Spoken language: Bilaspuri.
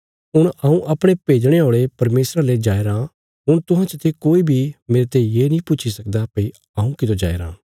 हुण हऊँ अपणे भेजणे औल़े परमेशरा ले जाया राँ हुण तुहां चते कोई बी मेरते ये नीं पुछी सकदा भई हऊँ कितो जाईराँ